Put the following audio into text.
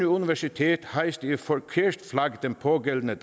universitet hejste et forkert flag den pågældende